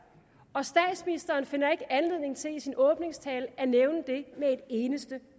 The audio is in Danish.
og statsministeren finder ikke anledning til i sin åbningstale at nævne det med et eneste